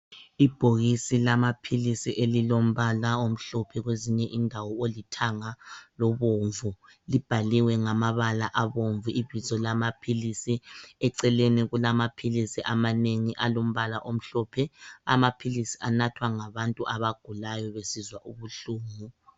Ibhokisi lamaphilisi elilombala omhlophe kwezinye indawo olithanga lobomvu. Libhaliwe ngamabala abomvu ibizo lamaphilisi eceleni kulamaphilisi amanengi alombala omhlophe. Amaphilisi anathwa ngabantu abagulayo besizwa ubuhlungu.